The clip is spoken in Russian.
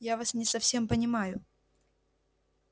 я вас не совсем понимаю